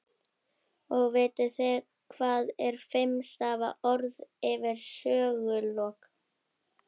Og vitið þið hvað er fimm stafa orð yfir sögulok?